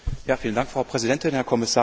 Frau Präsidentin, Herr Kommissar!